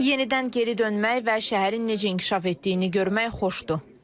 Yenidən geri dönmək və şəhərin necə inkişaf etdiyini görmək xoşdur.